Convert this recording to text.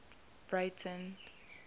breyten